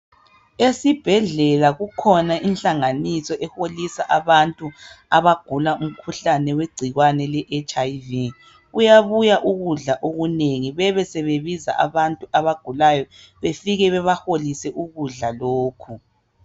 Esibhedlela kukhona inhlanganiso eholisa abantu abagula umkhuhlane wegcikwane le HIV . Kuyabuya ukudla okunengi bebe sebebiza abantu abagulayo bafike babaholise ukudla lokhu.